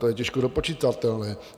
To je těžko dopočitatelné.